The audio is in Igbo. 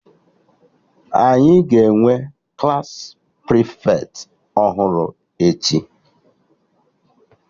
Anyị ga-enwe Klassị prịfeti ọhụrụ echi